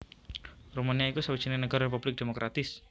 Rumania iku sawijining nagara republik demokratis